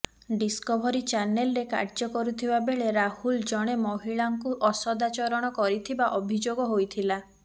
discovery ଚ୍ୟାନେଲରେ କାର୍ୟ୍ୟ କରୁଥିବା ବେଳେ ରାହୁଲ ଜଣେ ମହିଳାଙ୍କୁ ଅସଦାଚରଣ କରିଥିବା ଅଭିଯୋଗ ହୋଇଥିଲା